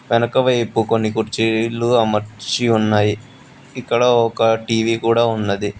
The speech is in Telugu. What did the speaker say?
వెనకవైపు కొన్ని కుర్చీలు అమర్చి ఉన్నవి ఇక్కడ ఒక టీ_వీ కూడా ఉన్నది.